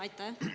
Aitäh!